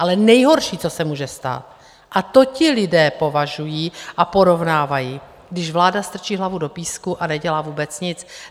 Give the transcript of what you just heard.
Ale nejhorší, co se může stát, a to ti lidé považují a porovnávají, když vláda strčí hlavu do písku a nedělá vůbec nic.